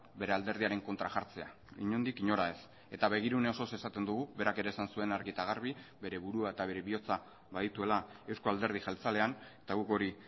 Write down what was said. bere alderdiaren kontra jartzea inondik inora ez eta begirune osoz esaten dugu berak ere esan zuen argi eta garbi bere burua eta bere bihotza badituela euzko alderdi jeltzalean eta guk hori